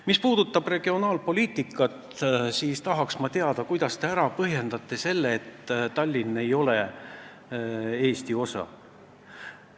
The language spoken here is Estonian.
Mis puudutab regionaalpoliitikat, siis ma tahaks teada, kuidas te põhjendate ära selle, et Tallinn ei ole Eesti osa.